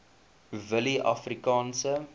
willieafrikaanse